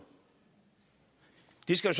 det skal